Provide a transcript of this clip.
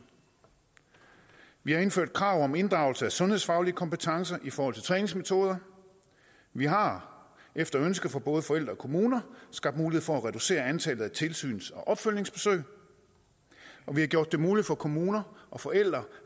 vi har indført krav om inddragelse af sundhedsfaglige kompetencer i forhold til træningsmetoder vi har efter ønske fra både forældre og kommuner skabt mulighed for at reducere antallet af tilsyns og opfølgningsbesøg og vi har gjort det muligt for kommuner og forældre